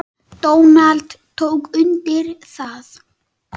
Donald tók undir það.